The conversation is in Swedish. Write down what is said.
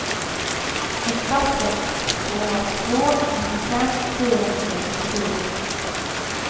åtta sex två två nittiofem fyrahundranittiofyra